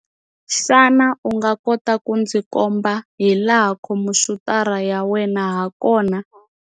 Xana u nga kota ku ndzi komba hilaha khomphyutara ya wena hakona?